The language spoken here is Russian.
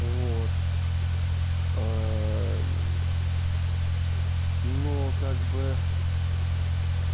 вот ээ ну как бы